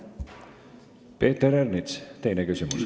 Peeter Ernits, teine küsimus.